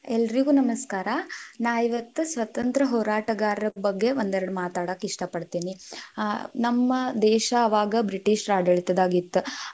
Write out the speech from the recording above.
ಎಲ್ರಿಗೂ ನಮಸ್ಕಾರ, ನಾ ಇವತ್ ಸ್ವತಂತ್ರ ಹೋರಾಟಗಾರರ್ ಬಗ್ಗೆ ಒಂದೆರಡ್ ಮಾತಾಡಾಕ್ ಇಷ್ಟ ಪಡತಿನಿ, ಆ ನಮ್ಮ ದೇಶಾ ಅವಾಗ ಬ್ರಿಟಿಷರ ಆಡಳಿತದಾಗಿತ್.